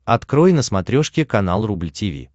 открой на смотрешке канал рубль ти ви